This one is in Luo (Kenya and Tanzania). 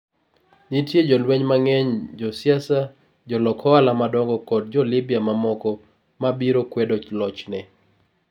Nitie jolweny mang'eny, josiasa, jolok ohala madongo, koda Jo-Libya mamoko ma biro kwedo lochne.